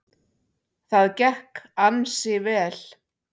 Það gekk ansi vel.